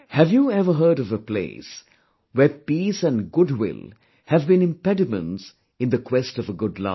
Have you ever heard of a place where peace and goodwill have been impediments in the quest of a good life